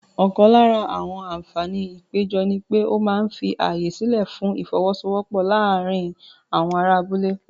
Ọ̀kan lára àǹfààní ìpéjọ ni pé ó máa ń fi ààyè sílẹ̀ fún ìfọ́wọ́sọwọ́pọ̀ láàárín àwọn ará abúlé.